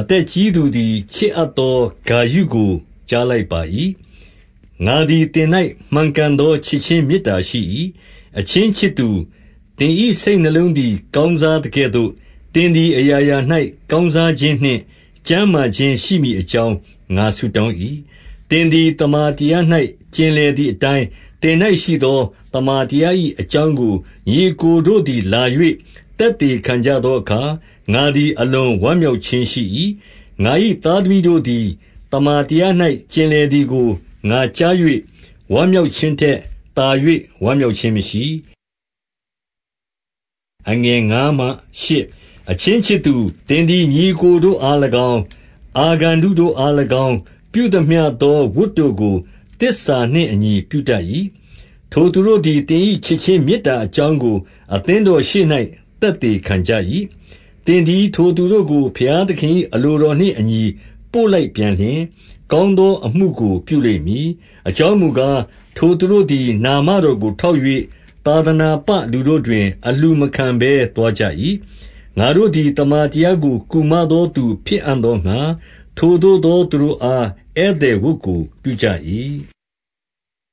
အသက်ကြီးသူသည်ချစ်အပ်သောဂါယုကိုကြားလိုက်၏။ ငါသည်သင်၌မှန်ကန်သောချစ်ခြင်း မေတ္တာရှိ၏။ အချင်းချစ်သူ၊ သင်၏စိတ်နှလုံးသည် ကောင်းစားသကဲ့သို့၊ သင်သည်အရာရာ၌ကောင်းစားခြင်းနှင့် ကျန်းမာခြင်းရှိမည်အကြောင်း ငါဆုတောင်း၏။ သင်သည်သမ္မာတရား၌ ကျင်လည်သည်အတိုင်း သင်၌ရှိသောသမ္မာတရား၏အကြောင်းကို ညီအစ်ကို တို့သည်လာ၍ သက်သေခံကြသောအခါ၊ ငါသည် အလွန်ဝမ်းမြောက်ခြင်းရှိ၏။ ငါ၏သားသမီးတို့သည် သမ္မာတရား၌ ကျင်လည်သည်ကို ငါကြား၍ ဝမ်းမြောက်ခြင်းထက် သာ၍ ဝမ်းမြောက်ခြင်းမရှိ။ အချင်းချစ်သူ၊ သင်သည်ညီအစ်ကိုတို့အား၎င်း၊ အာဂန္တုတို့အား၎င်း ပြုသမျှသောဝတ်တို့ကို သစ္စာနှင့် အညီ ပြုတတ်၏။ ထိုသူတို့သည် သင်၏ချစ်ခြင်းမေတ္တာအကြောင်းကို အသင်းတော်ရှေ့၌ သက်သေခံကြ၏။ သင်သည်ထိုသူတို့ကို ဘုရားသခင်၏ အလိုတော်နှင့်အညီ ပို့လိုက်ပြန်လျှင်၊ ကောင်းသောအမှုကိုပြုလိမ့်မည်။ အကြောင်းမူကား၊ ထိုသူတို့သည် နာမတော်ကိုထောက်၍၊ သာသနာပလူတို့တွင် အလှူမခံဘဲသွားကြ၏။ ငါတို့သည် သမ္မာတရားကို ကူမသောသူ ဖြစ်အံ့သောငှါ၊ ထိုသို့သောသူတို့အား ဧည့်သည်ဝတ်ကို ပြုအပ်ကြ၏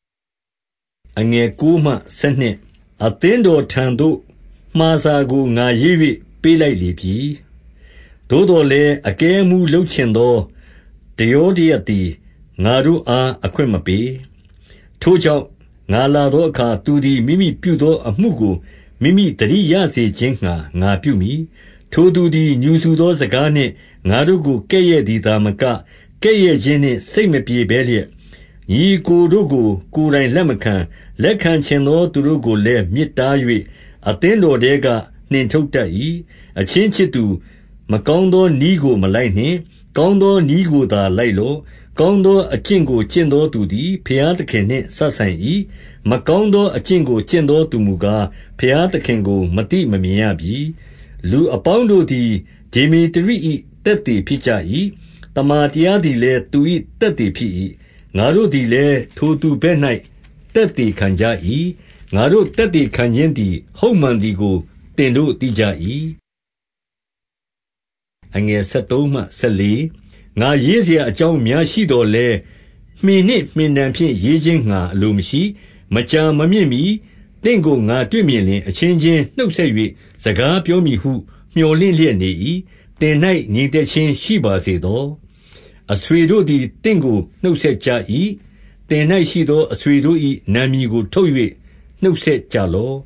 ။ အသင်းတော်ထံသို့မှာစာကို ငါရေး၍ ပေးလိုက်လေပြီ။ သို့သော်လည်း၊ အကဲအမှူးလုပ်ချင်သော ဒယောတရပ်သည် ငါတို့အားအခွင့်မပေး။ ထိုကြောင့်၊ ငါလာသောအခါ သူသည် မိမိပြုသောအမှုကို မိမိသတိရစေခြင်းငှါ ငါပြုမည်။ ထိုသူ သည်၊ ငြူစူသောစကားနှင့် ငါတို့ကို ကဲ့ရဲ့သည်သာမက၊ ကဲ့ရဲ့ခြင်းနှင့် စိတ်မပြေဘဲလျက်၊ ညီအစ်ကိုတို့ကို ကိုယ်တိုင်လက်မခံ၊ လက်ခံချင်သောသူတို့ကိုလည်း မြစ်တား၍၊ အသင်းတော်ထဲကနှင်ထုတ်တတ်၏။ အချင်းချစ်သူ၊ မကောင်းသောနည်းကို မလိုက်နှင့်၊ ကောင်းသောနည်းကိုသာလိုက်လော့။ ကောင်းသောအကျင့်ကို ကျင့်သောသူသည် ဘုရားသခင်နှင့် စပ်ဆိုင်၏။ မကောင်းသောအကျင့်ကို ကျင့်သောသူမူကား၊ ဘုရားသခင်ကို မသိမမြင်ရပြီ။ လူအပေါင်းတို့သည် ဒေမေတရိ၏ သက်သေဖြစ်ကြ၏။ သမ္မာတရားသည်လည်း သူ၏ သက်သေ ဖြစ်၏။ ငါတို့သည်လည်း ထိုသူဘက်၌ သက်သေခံကြ၏။ ငါတို့၏ သက်သေခံခြင်းသည် ဟုတ်မှန်သည်ကို သင်တို့ သိကြ၏။ ငါရေးစရာအကြောင်းအများရှိသော်လည်း၊ မှင်နှင့် မှင်တံဖြင့် ရေးခြင်းငှာ အလိုမရှိ၊ မကြာမမြင့်မှီသင့်ကို ငါတွေ့မြင်လျှင် အချင်းချင်းနှုတ်ဆက်၍ စကားပြောမည်ဟု မြော်လင့်လျက် နေ၏။ သင်၌ငြိမ်သက်ခြင်းရှိပါစေသော။ အဆွေတို့သည် သင့်ကိုနှုတ်ဆက်ကြ၏။ သင်၌ရှိသောအဆွေတို့၏ နာမည်ကို ထုတ်၍နှုတ်ဆက်လော့